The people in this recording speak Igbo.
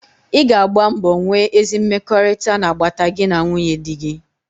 Ị ga agba mbọ nwee ezi mmekọrịta n'agbata gị na nwunye dị gị.